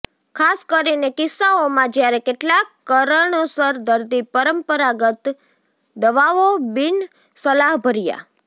ખાસ કરીને કિસ્સાઓમાં જ્યારે કેટલાક કારણોસર દર્દી પરંપરાગત દવાઓ બિનસલાહભર્યા